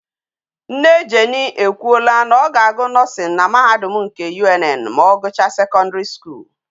Nne jenny ekwu ola na oga a gu nursing na mahadum nke UNN ma ogucha secondary school